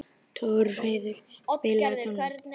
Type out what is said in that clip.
Torfheiður, spilaðu tónlist.